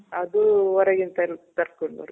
ಅದೂ ಹೊರಗಿಂದ ತರಿಸ್ಕೊಂಬರೋದು.